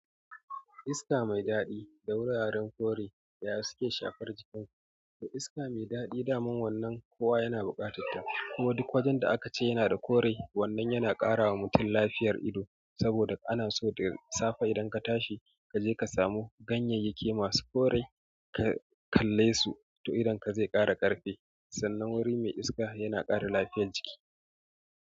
Iska mai daɗi da wuraren kore yaya suke shafar jikinku. To iska mai daɗi dama wanan kowa yana bukattata. Kuma duk wajen da aka ce yana da kore wannan yana ƙara wa mutum lafiyar ido. Saboda ana so da safe idan ka tashi, ka je ka samu ganyeyyaki masu kore kalle su to idonka zai ƙara ƙarfi. Sannan wuri mai iska yana ƙara lafiyar jiki.